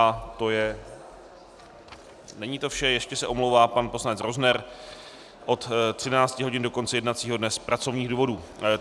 A to je - není to vše, ještě se omlouvá pan poslanec Rozner od 13.00 do konce jednacího dne z pracovních důvodů.